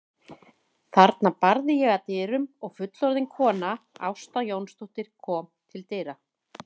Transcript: Þarna barði ég að dyrum og fullorðin kona, Ásta Jónsdóttir, kom til dyra.